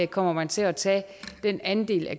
kommer man til at tage den andel af